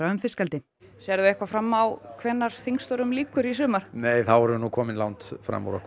um fiskeldi sérðu eitthvað fram á hvenær þingstörfum lýkur í sumar nei þá værum við komin langt fram úr okkur